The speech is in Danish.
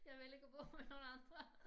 Jeg vil ikke bo med nogen andre